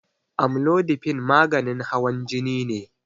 Amlodipine maganin hawan jini ne